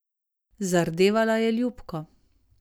Zardevala je ljubko.